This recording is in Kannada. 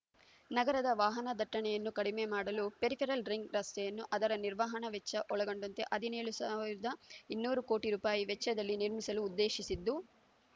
ನಗರದ ವಾಹನ ದಟ್ಟಣೆಯನ್ನು ಕಡಿಮೆ ಮಾಡಲು ಪೆರಿಫೆರಲ್ ರಿಂಗ್ ರಸ್ತೆಯನ್ನು ಅದರ ನಿರ್ವಹಣಾ ವೆಚ್ಚ ಒಳಗೊಂಡಂತೆ ಹದಿನೇಳು ಸಾವಿರದ ಇನ್ನೂರು ಕೋಟಿ ರೂಪಾಯಿ ವೆಚ್ಚದಲ್ಲಿ ನಿರ್ಮಿಸಲು ಉದ್ದೇಶಿಸಿದ್ದು